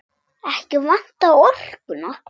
Ekki vantaði orkuna.